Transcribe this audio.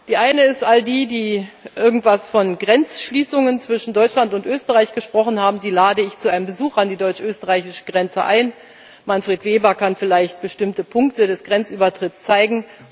Die eine ist All die, die irgendetwas von Grenzschließungen zwischen Deutschland und Österreich gesprochen haben, die lade ich zu einem Besuch an die deutsch österreichische Grenze ein. Manfred Weber kann vielleicht bestimmte Punkte des Grenzübertritts zeigen.